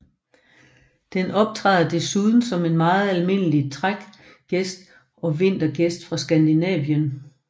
Den optræder desuden som en meget almindelig trækgæst og vintergæst fra Skandinavien